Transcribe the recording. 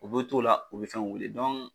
U bɛ t'o la u bɛ fɛnw weele .